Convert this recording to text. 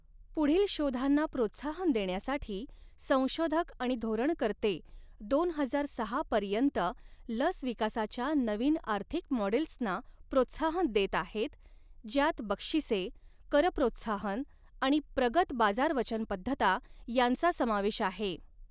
पुढील शोधांना प्रोत्साहन देण्यासाठी, संशोधक आणि धोरणकर्ते दोन हजार सहा पर्यंत लस विकासाच्या नवीन आर्थिक मॉडेल्सना प्रोत्साहन देत आहेत, ज्यात बक्षिसे, कर प्रोत्साहन आणि प्रगत बाजार वचनबद्धता यांचा समावेश आहे.